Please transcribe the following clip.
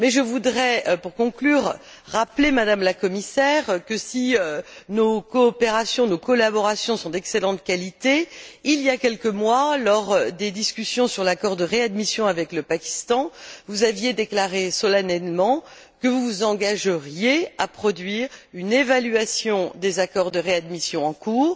Mais je voudrais, pour conclure, rappeler, Madame la Commissaire que, si nos collaborations sont d'excellente qualité, il y a quelques mois, lors des discussions sur l'accord de réadmission avec le Pakistan, vous aviez déclaré solennellement que vous vous engageriez à produire une évaluation des accords de réadmission en cours,